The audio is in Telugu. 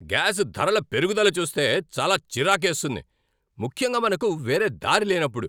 గ్యాస్ ధరల పెరుగుదల చూస్తే చాలా చిరాకేస్తుంది, ముఖ్యంగా మనకు వేరే దారి లేనప్పుడు.